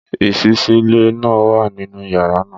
Ìṣísílẹ̀ náà wà nínú yàrá náà.